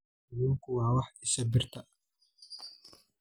Kalluunku waa isha birta.